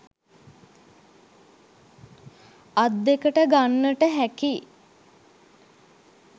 අත් දෙකට ගන්නට හැකි